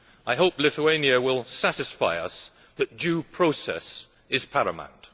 I hope Lithuania will satisfy us that due process is paramount.